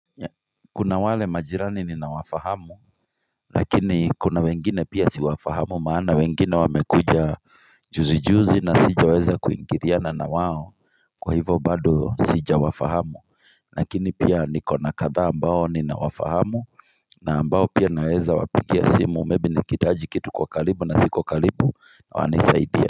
Kuna wale majirani ninawafahamu Lakini kuna wengine pia siwafahamu maana wengine wamekuja juzi juzi na sijaweza kuingiriana na wao Kwa hivo bado sija wafahamu Lakini pia nikona kadha ambao ninawafahamu na ambao pia naweza wapigia simu maybe nikihitaji kitu kwa kalibu na siku kalibu wanisaidie.